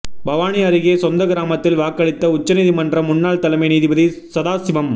பவானி அருகே சொந்த கிராமத்தில் வாக்களித்த உச்ச நீதிமன்ற முன்னாள் தலைமை நீதிபதி சதாசிவம்